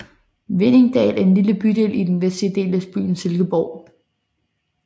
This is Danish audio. Hvinningdal er en lille bydel i den vestlige del af byen Silkeborg